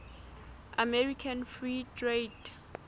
american free trade